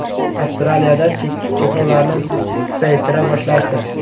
Avstraliyada cheklovlarni susaytira boshlashdi.